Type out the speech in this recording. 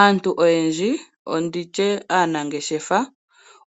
Aantu oyendji nenge nditye aanangeshefa